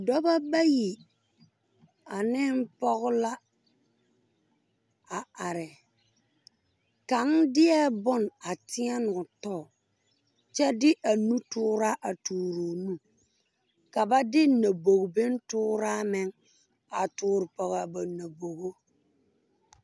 Dɔbɔ bayi ane pɔge la a are kaŋ deɛ boŋ a teɛne o tɔ kyɛ de a nu tooraa toore o nu ka ba de nyɔbogi boŋ tooraa meŋ a toore pɔge a ba nyɔbogo.